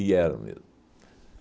E era mesmo.